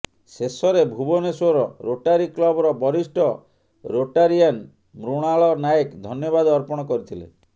ଶେଷରେ ଭୁବନେଶ୍ୱର ରୋଟାରୀ କ୍ଲବର ବରିଷ୍ଟ ରୋଟାରିଆନ ମୃଣାଳ ନାଏକ ଧନ୍ୟବାଦ ଅର୍ପଣ କରିଥିଲେ